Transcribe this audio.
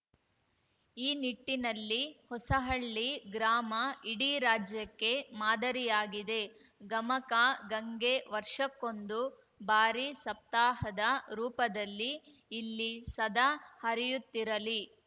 ಈ ನಿಟ್ಟಿನಲ್ಲಿ ಹೊಸಹಳ್ಳಿ ಗ್ರಾಮ ಇಡೀ ರಾಜ್ಯಕ್ಕೆ ಮಾದರಿಯಾಗಿದೆ ಗಮಕ ಗಂಗೆ ವರ್ಷಕ್ಕೊಂದು ಬಾರಿ ಸಪ್ತಾಹದ ರೂಪದಲ್ಲಿ ಇಲ್ಲಿ ಸದಾ ಹರಿಯುತ್ತಿರಲಿ